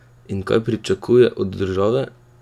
In kaj pričakuje od države?